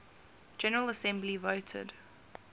general assembly voted